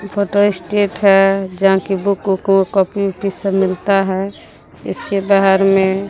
photo state है जहां कि बुक ऊक व कापी ओपी सभ मिलता है इसके बाहर में--